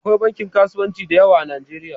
Akwai bankin kasuwanci da yawa a Nijeriya